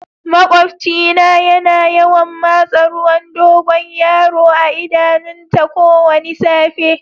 Maƙwabci na ya na yawan masa ruwan dogoyaro a'idanun ta kowani safe.